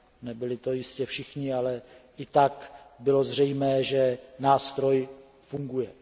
Nebyli to jistě všichni, ale i tak bylo zřejmé, že nástroj funguje.